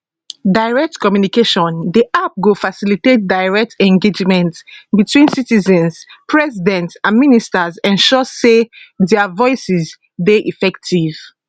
direct communicationdi app go facilitates direct engagement between citizens president and ministers ensure say dia voices dey effective